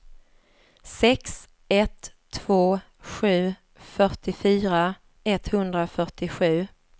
sex ett två sju fyrtiofyra etthundrafyrtiosju